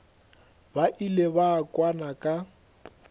ba ile ba kwana ka